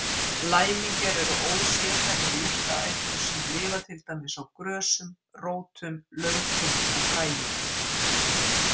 Læmingjar eru ósérhæfðar jurtaætur sem lifa til dæmis á grösum, rótum, laukum og fræjum.